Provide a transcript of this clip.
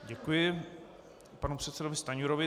Děkuji panu předsedovi Stanjurovi.